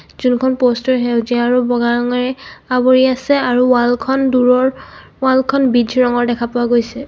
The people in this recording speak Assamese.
যোনখন পস্ত টোৰ সেউজীয়া আৰু বগা ৰঙেৰে আৱৰি আছে আৰু ওৱাল খন দুৰৰ ওৱাল খন বিটজ ৰঙৰ দেখা পোৱা গৈছে.